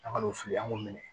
An ka n'u fili an k'u minɛ